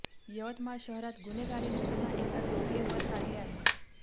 यवतमाळ शहरात गुन्हेगारीने पुन्हा एकदा डोके वर काढले आहे